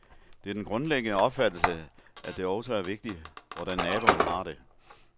Det er den grundlæggende opfattelse, at det også er vigtigt, hvordan naboen har det.